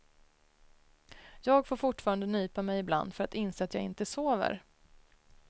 Jag får fortfarande nypa mig ibland för att inse att jag inte sover.